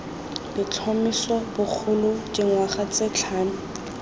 letlhomeso bogolo dingwaga tse tlhano